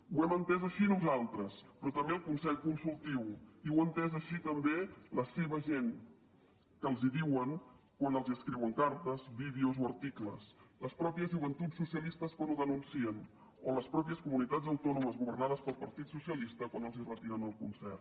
ho hem entès així nosaltres però també el consell consultiu i ho ha entès així també la seva gent que els ho diuen quan escriuen cartes vídeos o articles les mateixes joventuts socialistes quan ho denuncien o les mateixes comunitats autònomes governades pel partit socialista quan els retiren el concert